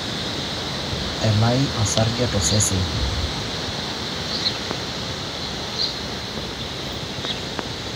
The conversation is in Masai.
Elai osarge tosesen